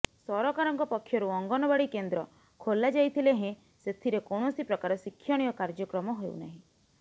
ସରକାରଙ୍କ ପକ୍ଷରୁ ଅଙ୍ଗନବାଡ଼ି କେନ୍ଦ୍ର ଖୋଲା ଯାଇଥିଲେ ହେଁ ସେଥିରେ କୌଣସି ପ୍ରକାର ଶିକ୍ଷଣୀୟ କାର୍ଯ୍ୟକ୍ରମ ହେଉନାହିଁ